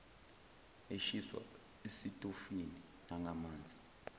eshiswa esitofini nangamanzi